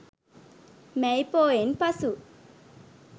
මැයි පෝයෙන් පසු